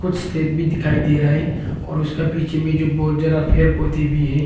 कुछ स्टेप भी दिखाई दे रहाई और उसका पीछे में जो बहुत जरा पेड़ पौधे भी है।